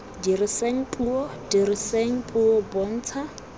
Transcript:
diriseng puo diriseng puo bontsha